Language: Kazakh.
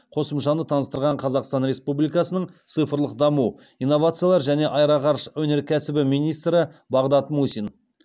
қосымшаны таныстырған қазақстан республикасының цифрлық даму инновациялар және аэроғарыш өнеркәсібі министрі бағдат мусин